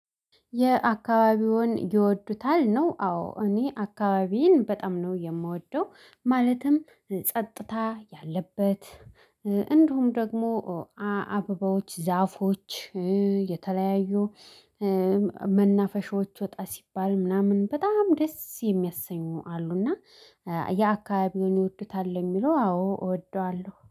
የአካባቢውን ይወዱታል ነው። አዎ እኔ አካባቢዬን በጣም ነው የምወደው። ማለትም ጸጥታ ያለበት እንዲሁም ደግሞ አበባዎች ዛፎች የተለያዩ መናፈሻዎች ወጣ ሲባል ምናምን በጣም ደስ የሚያሰኙ አሉና። የአካባቢውን ይወዱታል የሚለው አዎ እወደዋለሁ